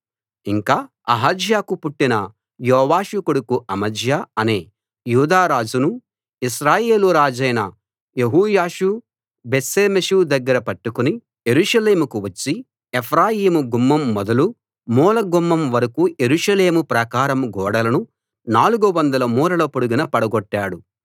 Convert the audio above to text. ఇంకా అహజ్యాకు పుట్టిన యోవాషు కొడుకు అమజ్యా అనే యూదారాజును ఇశ్రాయేలు రాజైన యెహోయాషు బేత్షెమెషు దగ్గర పట్టుకుని యెరూషలేముకు వచ్చి ఎఫ్రాయిము గుమ్మం మొదలు మూల గుమ్మం వరకూ యెరూషలేము ప్రాకారం గోడలను 400 మూరల పొడుగున పడగొట్టాడు